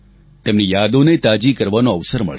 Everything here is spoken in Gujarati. તેમની યાદોને તાજી કરવાનો અવસર મળશે